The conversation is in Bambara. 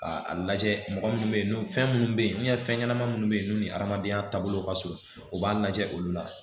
Ka a lajɛ mɔgɔ minnu bɛ yen fɛn minnu bɛ yen fɛn ɲɛnama minnu bɛ yen n'u ni hadamadenya taabolo ka surun u b'a lajɛ olu la